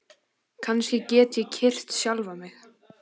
Kannski get ég kyrkt sjálfan mig?